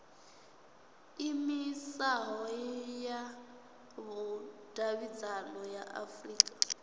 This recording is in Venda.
iimisaho ya vhudavhidzano ya afurika